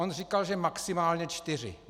On říkal, že maximálně čtyři.